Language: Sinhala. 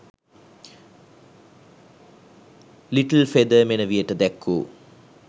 ලිට්ල්ෆෙදර් මෙනෙවියට දැක්වූ